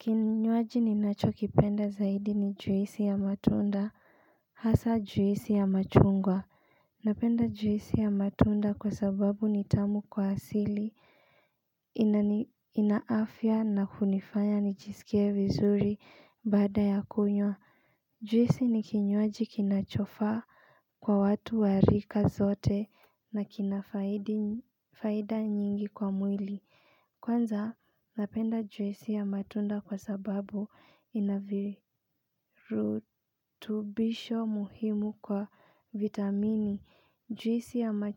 Kinywaji ninacho kipenda zaidi ni juisi ya matunda Hasa juisi ya machungwa Napenda juisi ya matunda kwa sababu nitamu kwa asili ina afya na kunifanya nijiskie vizuri baada ya kunywa Juisi ni kinywaji kinachofaa kwa watu wa rika zote na kinafaida nyingi kwa mwili Kwanza, napenda juisi ya matunda kwa sababu inavirutubisho muhimu kwa vitamini. Juisi ya ma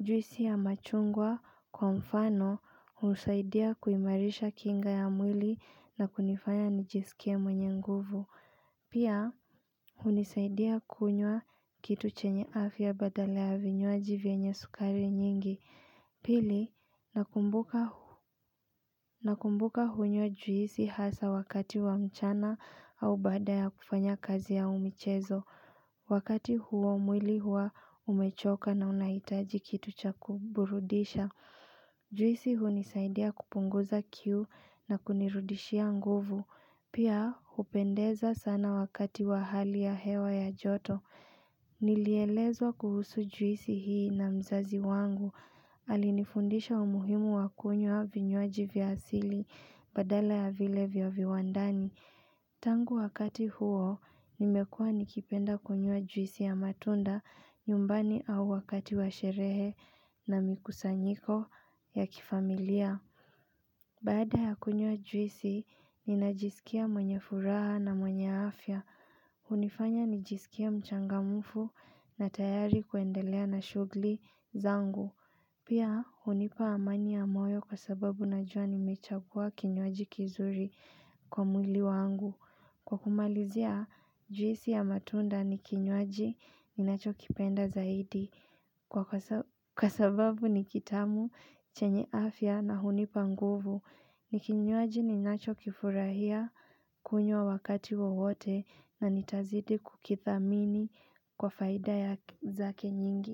Juisi ya machungwa kwa mfano husaidia kuimarisha kinga ya mwili na kunifanya njiskie mwenye nguvu. Pia, hunisaidia kunya kitu chenye afya badala ya vinywaji vyenye sukari nyingi. Pili, nakumbuka hunywa juisi hasa wakati wa mchana au baada ya kufanya kazi au michezo. Wakati huo mwili hua umechoka na unahitaji kitu cha kuburudisha. Juisi hunisaidia kupunguza kiu na kunirudishia nguvu. Pia, hupendeza sana wakati wa hali ya hewa ya joto. Nilielezwa kuhusu juisi hii na mzazi wangu. Alinifundisha umuhimu wa kunywa vinywaji vya asili badala ya vile vya viwandani Tangu wakati huo nimekua nikipenda kunywa juisi ya matunda nyumbani au wakati wa sherehe na mikusanyiko ya kifamilia Bada ya kunywa juisi ninajisikia mwanye furaha na mwanye afya hunifanya nijiskie mchangamufu na tayari kuendelea na shugli zangu Pia, hunipa amani ya moyo kwa sababu najua nimechagua kinywaji kizuri kwa mwili wangu. Kwa kumalizia, juisi ya matunda ni kinywaji ninacho kipenda zaidi. Kwa sababu ni kitamu, chenye afya na hunipa nguvu. Ni kinywaji ninacho kifurahia, kunywa wakati wowote na nitazidi kukithamini kwa faida zake nyingi.